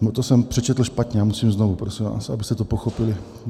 No, to jsem přečetl špatně a musím znovu, prosím vás, abyste to pochopili.